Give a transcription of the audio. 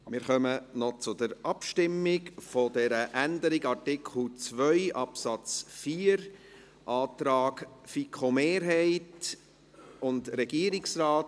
Wir kommen noch zur Abstimmung über diese Änderung von Artikel 2 Absatz 4, Antrag FiKo-Mehrheit und Regierungsrat.